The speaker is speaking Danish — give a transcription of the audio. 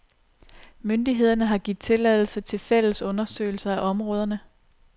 Myndigheder har givet tilladelse til fælles undersøgelser af områderne.